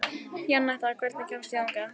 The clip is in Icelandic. Janetta, hvernig kemst ég þangað?